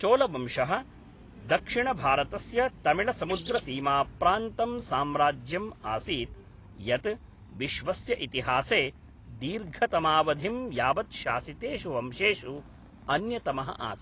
चोलवंशः दक्षिणभारतस्य तमिळ्समुद्रसीमाप्रान्तं साम्राज्यम् आसीत्, यत् विश्वस्य इतिहासे दीर्घतमावधिं यावत् शासितेषु वंशेषु अन्यतमः आसीत्।